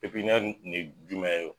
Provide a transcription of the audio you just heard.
Pepiɲɛri nin ye jumɛn ye.